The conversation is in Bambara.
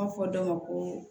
fɔ dɔ ma ko